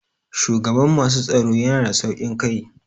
Shugaban masu tsaro yana da sauƙin kai.